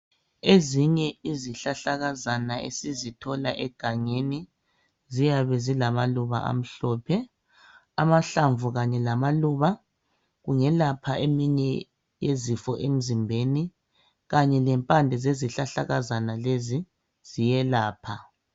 Ezinye izihlahlakazana esizithola egangeni ziyabe zilamaluba amhlophe. Amahlamvu kanye lamaluba kungelapha eminye yezifo emzimbeni kanye lempande zezihlahlakazana lezi ziyelapha.